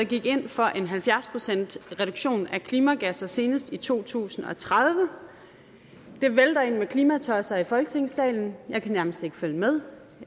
gik ind for halvfjerds procent reduktion af klimagasser senest i to tusind og tredive det vælter ind med klimatosser i folketingssalen jeg kan nærmest ikke følge med